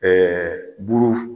Ɛɛ ɛ buluf